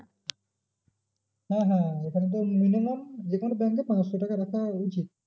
হ্যাঁ হ্যাঁ এখানে তো minimum যে কোনো bank এ পাঁচশো টাকা রাখা উচিত।